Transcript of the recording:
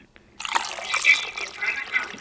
Maður skellti bara á.